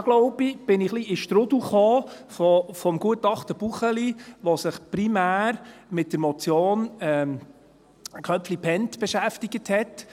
Da glaube ich, bin ich ein wenig in den Strudel des Gutachtens Buchli geraten, das sich primär mit der Motion Köpfli/Bhend beschäftigt hat.